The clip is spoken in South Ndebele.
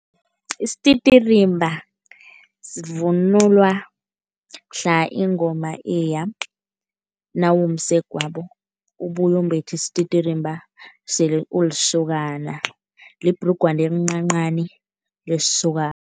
Isititirimba sivunulwa mhla ingoma iya. Nawumsegwabo, ubuya umbethe isititirimba sele ulisokana, libhrugwana elincancani lesokana.